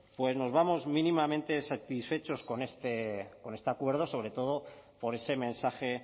pues nos vamos mínimamente satisfechos con este acuerdo sobre todo por ese mensaje